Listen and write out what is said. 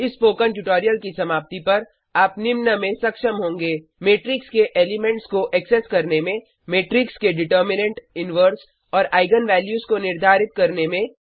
इस spoken tutorial की समाप्ति पर आप निम्न में सक्षम होंगे मेट्रिक्स के एलिमेंट्स को एक्सेस करने में मेट्रिक्स के डिटर्मिनेन्ट इनवर्स और आईगन वैल्यूज को निर्धारित करने में